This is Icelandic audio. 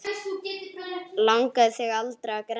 Langaði þig aldrei að grenja?